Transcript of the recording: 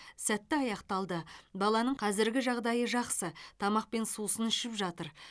сәтті аяқталды баланың қазіргі жағдайы жақсы тамақ пен сусын ішіп жатыр